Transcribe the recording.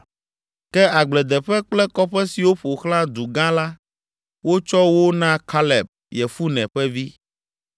(Ke agbledeƒe kple kɔƒe siwo ƒo xlã du gã la, wotsɔ wo na Kaleb, Yefune ƒe vi.)